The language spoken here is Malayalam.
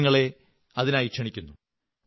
ഞാൻ നിങ്ങളെ അതിനായി ക്ഷണിക്കുന്നു